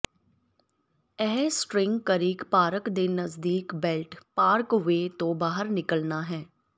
ਇਹ String Creek Park ਦੇ ਨਜ਼ਦੀਕ ਬੇਲਟ ਪਾਰਕਵੇਅ ਤੋਂ ਬਾਹਰ ਨਿਕਲਣਾ ਹੈ